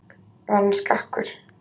Var hann skakkur?